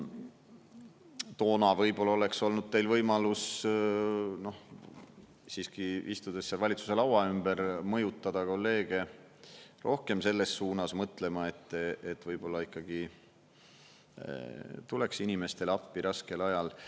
Toona võib-olla oleks olnud teil võimalus siiski, istudes seal valitsuse laua ümber, mõjutada kolleege rohkem selles suunas mõtlema, et võib-olla ikkagi tuleks inimestele appi raskel ajal.